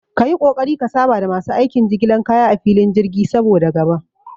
Kayi ƙoƙari ka saba da masu aikin jigilan kaya a filin jirgi, saboda gaba